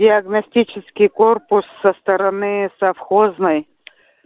диагностический корпус со стороны совхозной